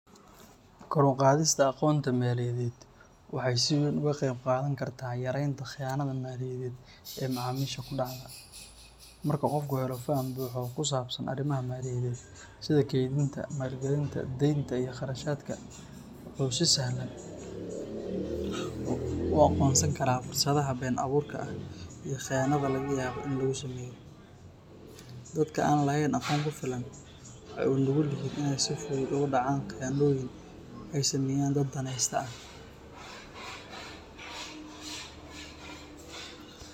Kor u qaadista aqoonta maaliyadeed waxay si weyn uga qeyb qaadan kartaa yareynta khiyaanada maaliyadeed ee macaamiisha ku dhacda. Marka qofku helo faham buuxa oo ku saabsan arrimaha maaliyadeed sida kaydinta, maalgelinta, deynta, iyo kharashaadka, wuxuu si sahlan u aqoonsan karaa fursadaha been-abuurka ah iyo khiyaanada laga yaabo in lagu sameeyo. Dadka aan lahayn aqoon ku filan waxay u nugul yihiin inay si fudud ugu dhacaan khiyaanooyin ay sameeyaan dad danayste ah.